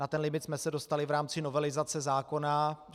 Na ten limit jsme se dostali v rámci novelizace zákona.